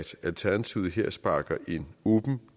alternativet her sparker en åben